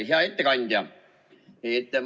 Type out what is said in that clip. Hea ettekandja!